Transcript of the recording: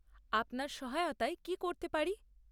আপনার সহায়তায় কী করতে পারি?